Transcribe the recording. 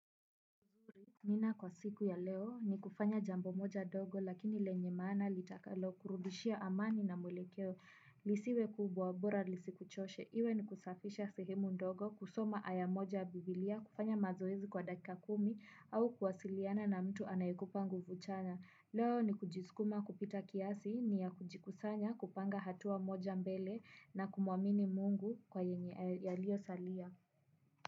Nina kwa siku ya leo ni kufanya jambo moja dogo lakini lenye maana litakalokurudishia amani na mwelekeo. Lisiwe kubwa bora lisikuchoshe. Iwe ni kusafisha sehemu ndogo kusoma aya moja ya biblia kufanya mazoezi kwa dakika kumi au kuwasiliana na mtu anayekupa nguvu chanya. Leo ni kujisukuma kupita kiasi ni ya kujikusanya kupanga hatua moja mbele na kumuamini mungu kwa yenye yaliosalia.